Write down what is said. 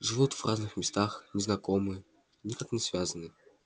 живут в разных местах не знакомы никак не связаны